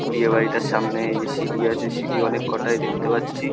বিয়ে বাড়িটার সামনে এই যে সিঁড়ি আছে সিঁড়ি অনেক কটায় দেখতে পাচ্ছি।